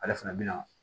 Ale fana bɛ na